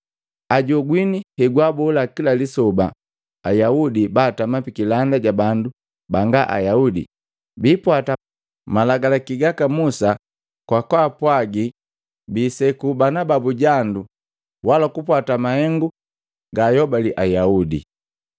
Ajogwini hegwaabola kila lisoba Ayaudi baatama pikilanda ja bandu banga Ayaudi biipwata malagalaki gaka Musa kwa kaapwagi biiseku banababu jandu wala kupwata mahengu gaayobali Ayaudi.